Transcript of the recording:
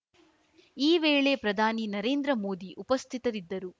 ಈ ವೇಳೆ ಪ್ರಧಾನಿ ನರೇಂದ್ರ ಮೋದಿ ಉಪಸ್ಥಿತರಿದ್ದರು